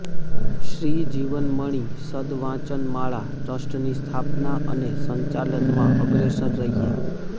શ્રી જીવનમણિ સદ્ વાચનમાળા ટ્રસ્ટની સ્થાપના અને સંચાલનમાં અગ્રેસર રહ્યા